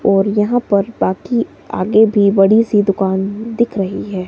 और यहां पर बाकी आगे भी बड़ी सी दुकान दिख रही है।